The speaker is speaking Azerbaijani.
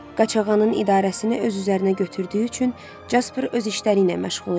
Qaçağanın idarəsini öz üzərinə götürdüyü üçün Jasper öz işləri ilə məşğul idi.